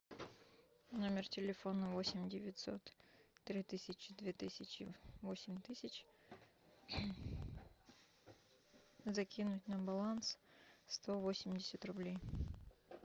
номер телефона восемь девятьсот три тысячи две тысячи восемь тысяч закинуть на баланс сто восемьдесят рублей